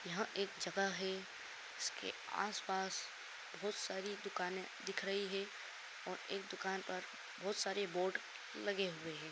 यहाँ एक जगह है जिसके आस-पास बोहोत सारी दुकानें दिख रही हैं और एक दुकान पर बोहोत सारे बोर्ड लगे हुए हैं।